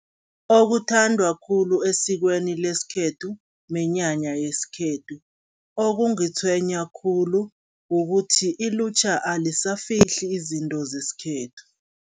Okuthandwa khulu esikweni lesikhethu, minyanya yesikhethu. Okungitshwenya khulu kukuthi, ilutjha alisafihli izinto zeskhethu.